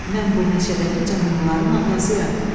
Mən bu meşədəki canlıların atasıyam.